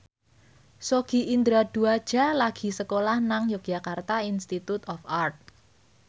Sogi Indra Duaja lagi sekolah nang Yogyakarta Institute of Art